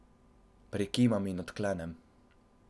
Prikimam in odklenem.